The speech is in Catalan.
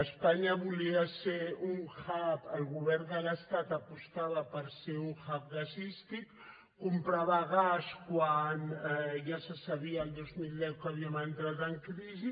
espanya volia ser un hub el govern de l’estat apostava per ser un hubquan ja se sabia el dos mil deu que havíem entrat en crisi